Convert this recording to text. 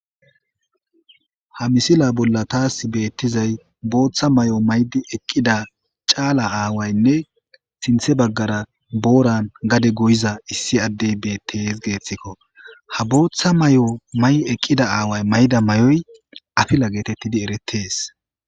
ha misila bolla taas beettizay booththa may7o maydi eqqida caala aawaynne sinthe baggara booran gade goyiza issi addey bettis geeththikko ha booththa may7o may eqqida aaway mayda may7oy afila geetettidi eretees